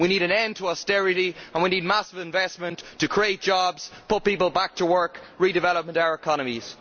We need an end to austerity and we need massive investment to create jobs, put people back to work and redevelop our economies.